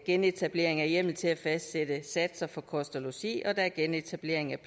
genetablering af hjemmel til at fastsætte satser for kost og logi og der er genetablering af